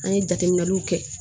An ye jateminɛw kɛ